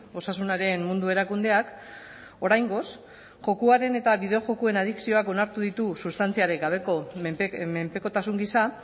osasunaren mundu erakundeak oraingoz jokoaren eta bideojokoen adikzioak onartu ditu sustantziarik gabeko menpekotasun gisa